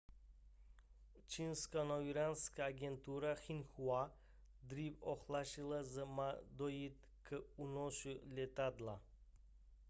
čínská novinářská agentura xinhua dříve ohlásila že má dojít k únosu letadla